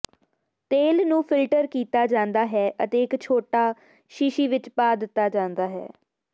ਤੇਲ ਨੂੰ ਫਿਲਟਰ ਕੀਤਾ ਜਾਂਦਾ ਹੈ ਅਤੇ ਇੱਕ ਛੋਟਾ ਸ਼ੀਸ਼ੀ ਵਿੱਚ ਪਾ ਦਿੱਤਾ ਜਾਂਦਾ ਹੈ